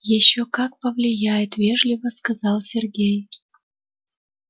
ещё как повлияет вежливо сказал сергей